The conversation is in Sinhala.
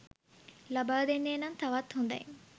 ලබා දෙන්නෙ නම් තවත් හොදයි.